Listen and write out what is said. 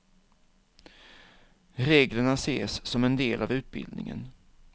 Reglerna ses som en del av utbildningen.